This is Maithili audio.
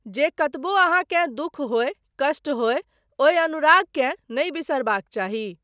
जे कतबौ अहाँकेँ दुःख होय, कष्ट होय, ओहि अनुरागकेँ नहि बिसरबाक चाही।